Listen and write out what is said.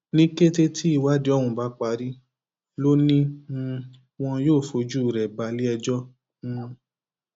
ní kété tí ìwádìí ọhún bá parí lọ ni um wọn yóò fojú rẹ balẹẹjọ um